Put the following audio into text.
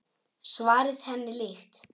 Svarið henni líkt.